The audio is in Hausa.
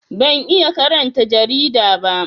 Ban iya karanta jarida ba